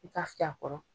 I ka fiyɛ a kɔrɔ